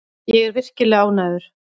Ég er virkilega ánægður.